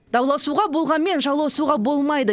дауласуға болғанымен жауласуға болмайды